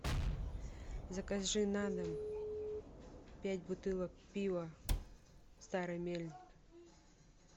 закажи на дом пять бутылок пива старый мельник